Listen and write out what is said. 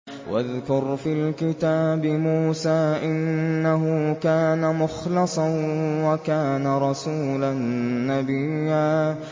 وَاذْكُرْ فِي الْكِتَابِ مُوسَىٰ ۚ إِنَّهُ كَانَ مُخْلَصًا وَكَانَ رَسُولًا نَّبِيًّا